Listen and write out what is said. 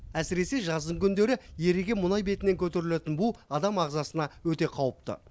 әсіресе жаздың күндері еріген мұнай бетіне көтерілетін бу адам ағзасына өте қауіпті